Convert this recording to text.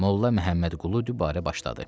Molla Məmmədqulu dübarə başladı.